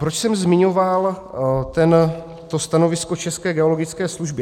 Proč jsem zmiňoval to stanovisko České geologické služby?